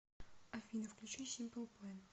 афина включи симпл плэн